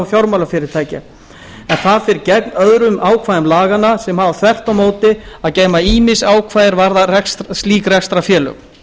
um fjármálafyrirtæki en það fer gegn öðrum ákvæðum laganna sem hafa þvert á móti að geyma ýmis ákvæði er varða slík rekstrarfélög